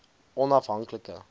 onafhanklike